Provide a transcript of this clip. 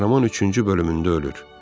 Qəhrəman üçüncü bölümündə ölür.